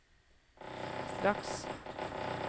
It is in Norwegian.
straks